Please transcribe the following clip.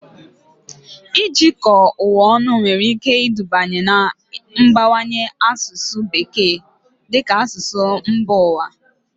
Ijikọ ụwa ọnụ nwere ike iduba n'ịbawanye asụsụ Bekee dị ka asụsụ mba ụwa